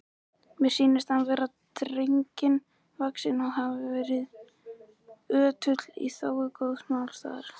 Mér sýnist hann vera drengilega vaxinn og hefur verið ötull í þágu góðs málstaðar.